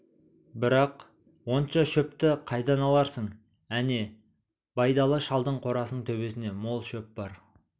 бірақ онша шөпті қайдан аларсың әне байдалы шалдың қорасының төбесінде мол шөп бар